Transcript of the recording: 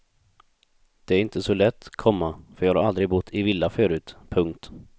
Det är inte så lätt, komma för jag har aldrig bott i villa förut. punkt